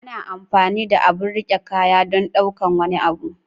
ana amfani da abun rike kaya don ɗaukar wani abu.